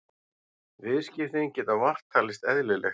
Viðskiptin geta vart talist eðlileg